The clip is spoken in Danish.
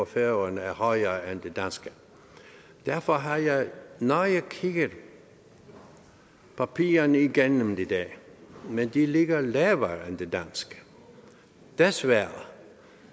færøerne er højere end det danske derfor har jeg nøje kigget papirerne igennem i dag men det ligger lavere end det danske desværre